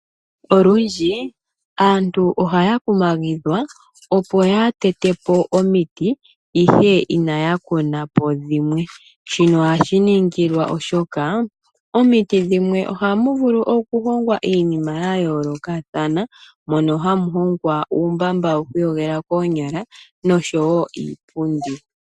Olundji aantu ohaya kumagidhwa opo kaya tetepo omiti ihe inaya kunapo dhimwe. Shino ohashi ningilwa oshoka momiti dhimwe ohamu vulu okuhongwa iinima ya yoolokathana, mono hamu hongwa uumbamba woku iyogela koonyala noshowo iipundi.